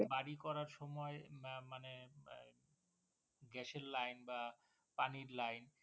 বাড়ি করার সময় উম মানে Gas এর Line বা পানির Line